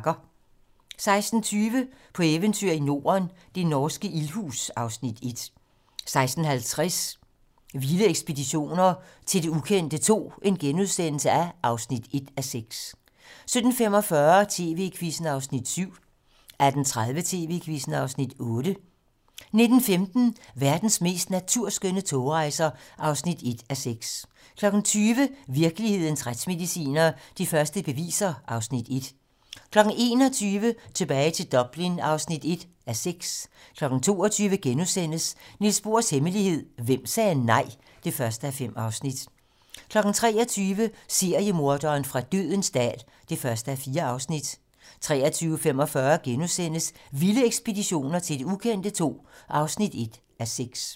16:20: På eventyr i Norden - det norske ildhus (Afs. 1) 16:50: Vilde ekspeditioner til det ukendte II (1:6)* 17:45: TV-Quizzen (Afs. 7) 18:30: TV-Quizzen (Afs. 8) 19:15: Verdens mest naturskønne togrejser (1:6) 20:00: Virkelighedens retsmediciner: De første beviser (Afs. 1) 21:00: Tilbage til Dublin (1:6) 22:00: Niels Bohrs hemmelighed: Hvem sagde nej? (1:5)* 23:00: Seriemorderen fra dødens dal (1:4) 23:45: Vilde ekspeditioner til det ukendte II (1:6)*